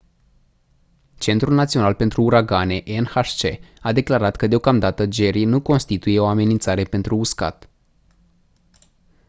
centrul național pentru uragane nhc a declarat că deocamdată jerry nu constituie o amenințare pentru uscat